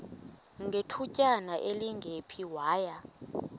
ngethutyana elingephi waya